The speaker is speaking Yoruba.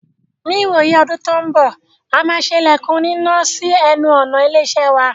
Ní ìwòyí ọdún tó n bọ̀,a máa ṣe ilẹ̀kùn onínà sí ẹnu ọ̀nà ilé-iṣẹ́ wa.